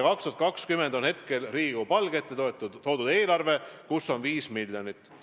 2020. aasta kohta on Riigikogu palge ette toodud eelarve, milles on 5 miljonit.